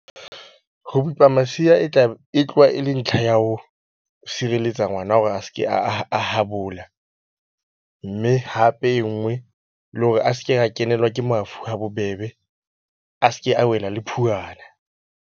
Ho masea e e tloha e le ntlha ya ho sireletsa ngwana hore a se ke a a habola. Mme hape e nngwe le hore a se ke a kenelwa ke mafu ha bobebe, a se ke a wela le phuwana.